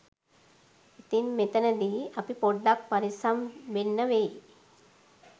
ඉතින් මෙතනදී අපි පොඩ්ඩක් පරිස්සම් වෙන්න වෙයි